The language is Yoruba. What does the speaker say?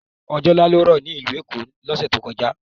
Ọjọ̀ nlá ló rọ ní ilù Èkó ló sẹ̀ tó kọ̀já